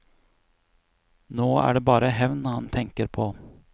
Nå er det bare hevn han tenker på.